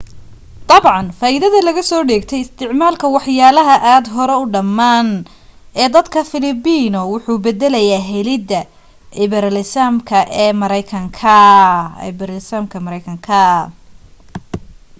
dabcan faaidada laga soo dheegay isticmaalka waxyaalaha aad hore u dhamaan ee dadka filibino wuxuu badalayaa helida iberalisamka maraykanka